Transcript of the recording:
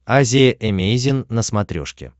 азия эмейзин на смотрешке